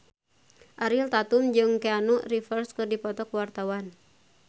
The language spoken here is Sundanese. Ariel Tatum jeung Keanu Reeves keur dipoto ku wartawan